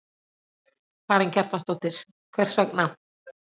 Karen Kjartansdóttir: Hvers vegna?